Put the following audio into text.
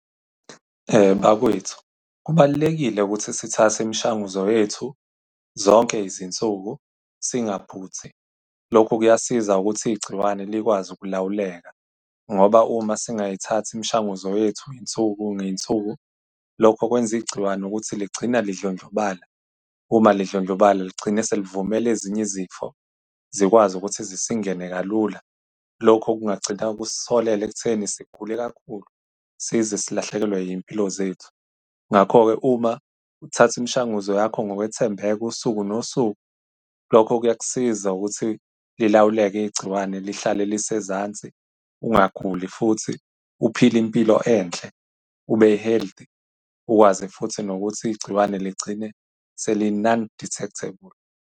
Bakwethu, kubalulekile ukuthi sithathe imishanguzo yethu zonke izinsuku, singaphuthi. Lokhu kuyasiza ukuthi igciwane likwazi ukulawuleka, ngoba uma singayithathi imishanguzo yethu iy'nsuku ngey'nsuku, lokho kwenza igciwane ukuthi ligcina lidlondlobala. Uma lidlondlobale ligcine selivumele ezinye izifo zikwazi ukuthi zisingene kalula. Lokhu kungagcina ukusiholele ekutheni sigule kakhulu, size silahlekelwe iy'mpilo zethu. Ngakho-ke uma uthatha imishanguzo yakho ngokwethembeka, usuku nosuku, lokho kuyakusiza ukuthi lilawuleke igciwane lihlale lise ezansi. Ungaguli futhi, uphile impilo enhle, ube healthy, ukwazi futhi nokuthi igciwane ligcine seli-non-detectable.